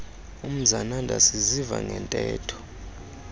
umzananda sisiva ngeentetho